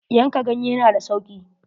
Yanka ganye na da sauki.